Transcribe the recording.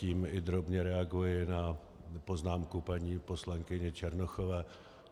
Tím i drobně reaguji na poznámku paní poslankyně Černochové.